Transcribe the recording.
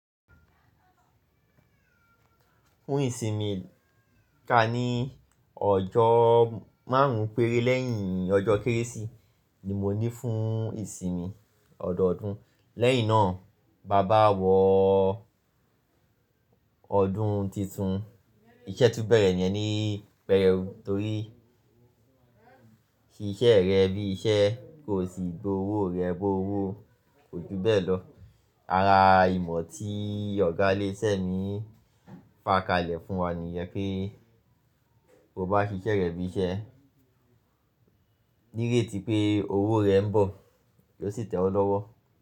Fún ìsinmi, ká ní ọjọ́ márùn-ún péré lẹ́yìn ọjọ́ Kérésì ni mo ní fún ìsinmi ọdọọdún. Lẹ́yìn náà, bàbá wọ ọdún titun. Iṣẹ́ tun bẹ̀rẹ̀ níyẹni pẹ̀rẹ̀ u, torí ṣíṣẹ́ rẹ bí iṣẹ́ kò sì gbowó rẹ bó owó. Kò ju bẹ́ẹ̀ lọ. Ara ìmọ̀ tí Ọ̀gá'léṣẹ́ mi fà kalẹ̀ fún wa ní ìyẹn pé, bó bá ṣiṣẹ́ rẹ bí iṣẹ́ nírétí pé owó rẹ ń bọ̀, yóò sì tẹ́ ọ lọ́wọ́